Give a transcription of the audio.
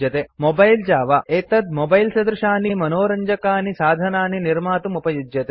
mobile Java mobile Java एतत् मोबैलसदृशानि विविधानि मनोरञ्जकानि साधनानि निर्मातुमुपयुज्यते